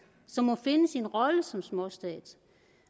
som må finde sin rolle som småstat